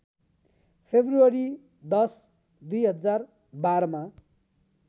February १० २०१२‎ मा